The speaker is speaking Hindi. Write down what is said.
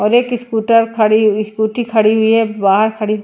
और एक स्कूटर खड़ी हुई स्कूटी खड़ी हुई है बाहर खड़ी--